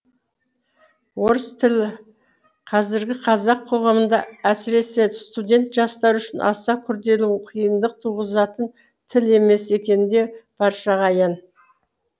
орыс тілі қазіргі қазақ қоғамында әсіресе студент жастар үшін аса күрделі қиындық туғызатын тіл емес екені де баршаға аян